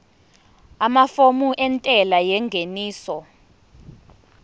amafomu entela yengeniso